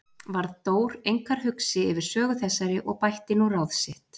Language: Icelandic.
Varð Dór einkar hugsi yfir sögu þessari og bætti nú ráð sitt.